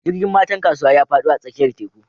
Jirgin matan kasuwa ya fado a tsakiyar teku